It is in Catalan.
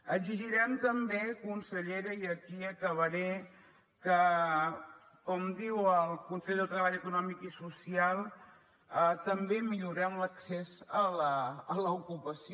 exigirem també consellera i aquí acabaré que com diu el consell de treball econòmic i social també millorem l’accés a l’ocupació